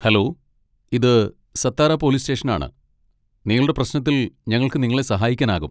Hello, ഇത് Satara police സ്റ്റേഷനാണ്, നിങ്ങളുടെ പ്രശ്നത്തിൽ ഞങ്ങൾക്ക് നിങ്ങളെ സഹായിക്കാനാകും.